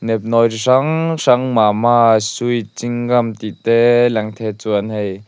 nepnawi hrang hrang mama sweet ching gum tih te lang thei a chuan hei--